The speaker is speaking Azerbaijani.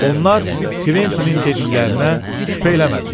Onlar Kventinin dediklərinə şübhə eləmədilər.